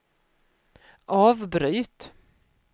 avbryt